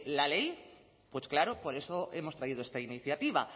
la ley pues claro por eso hemos traído esta iniciativa